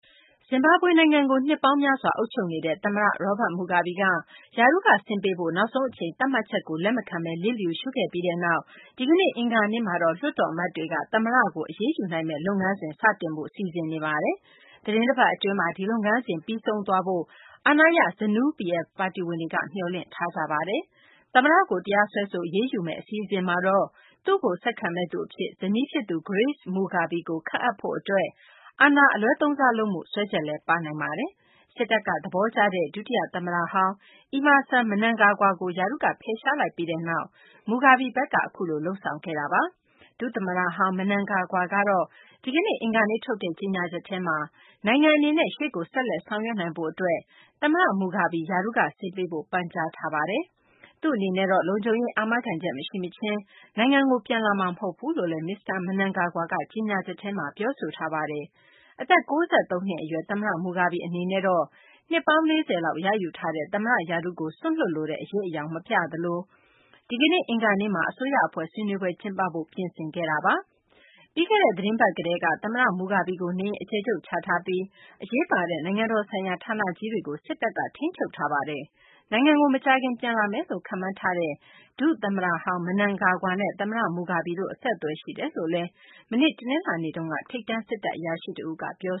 ဇင်ဘာဘွေ နိုင်ငံကို နှစ်ပေါင်းများစွာအုပ်ချုပ်နေတဲ့ သမ္မတ Robert Mugabe က ရာထူးက ဆင်းပေးဖို့ နောက်ဆုံးအချိန် သတ်မှတ်ချက်ကို လက်မခံဘဲ လစ်လျူရှုခဲ့ပြီးနောက် ဒီကနေ့ အင်္ဂါနေ့မှာတော့ လွှတ်တော်အမတ်တွေက သမ္မတကို အရေးယူနိုင်မယ့် လုပ်ငန်းစဉ် စတင်ဖို့ စီစဉ်နေပါတယ်။ သီတင်းတပတ် အတွင်းမှာ ဒီလုပ်ငန်းစဉ် ပြီးဆုံးသွားဖို့ အာဏာရ ZANU-PF ပါတီဝင်တွေက မျှော်လင့်ထားကြပါတယ်။ သမ္မတကို တရားစွဲဆို အရေးယူမယ့် အစီအစဉ်မှာတော့ သူ့ကို ဆက်ခံမယ့်သူ အဖြစ် ဇနီးဖြစ်သူ Grace Mugabe ကို ခန့်အပ်ဖို့ အတွက် အာဏာအလွဲသုံးစားလုပ်မှု စွဲချက်လည်းပါနိုင်ပါတယ်။ စစ်တပ်က သဘောကျတဲ့၊ ဒုတိယသမ္မတဟောင်း အီမာဆန် မနန်ဂါဂွါကို ရာထူးက ဖယ်ရှားလိုက်ပြီးနောက် မူဂါဘီဘက်က အခုလို လုပ်ဆောင်ခဲ့တာပါ။ ဒုသမ္မတဟောင်း မနန်ဂါဂွါကတော့ ဒီကနေ့ အင်္ဂါနေ့ထုတ်တဲ့ ကြေညာချက်ထဲမှာတော့ နိုင်ငံ အနေနဲ့ ရှေ့ကို ဆက်လက် ဆောင်ရွက်နိုင်ဖို့ အတွက် သမ္မတ မူဂါဘီ ရာထူးက ဆင်းပေးဖို့ ပန်ကြားထားပါတယ်။သူ့အနေနဲ့တော့ လုံခြုံရေး အာမခံချက် မရှိမချင်း နိုင်ငံကို ပြန်လာမှာ မဟုတ်ဘူးလို့လည်း မစ္စတာ မနန်ဂါဂွါက ကြေညာချက်ထဲမှာ ပြောဆိုထားပါတယ်။အသက် ၉၃ နှစ် အရွယ် သမ္မတ မူဂါဘီ အနေနဲ့တော့ နှစ်ပေါင်း ၄၀ လောက် ရယူထားတဲ့ သမ္မတ ရာထူးကို စွန့်လွှတ်လိုတဲ့ အရိပ်အယောင် မပြသလို ဒီကနေ့ အင်္ဂါနေ့မှာ အစိုးရ အဖွဲ့ ဆွေးနွေးပွဲ ကျင်းပဖို့ ပြင်ဆင်ခဲ့တာပါ။ ပြီးခဲ့တဲ့ သီတင်းပတ် ကတည်းက သမ္မတ မူဂါဘီကို နေအိမ်အကျယ်ချုပ်ချထားပြီး အရေးပါတဲ့ နိုင်ငံတော်ဆိုင်ရာ ဌာနကြီးတွေကို စစ်တပ်က ထိန်းချုပ်ထားပါတယ်။ နိုင်ငံကို မကြာခင် ပြန်လာမယ်လို့ ခန့်မှန်းထားတဲ့ ဒုသမ္မတဟောင်း မနန်ဂါဂွါနဲ့ သမ္မတ မူဂါဘီတို့ အဆက်အသွယ်ရှိတယ်လို့လည်း မနေ့ တနလာၤနေ့က ထိပ်တန်း စစ်တပ် အရာရှိတဦးက ပြော